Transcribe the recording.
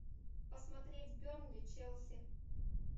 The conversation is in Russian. посмотреть бернли челси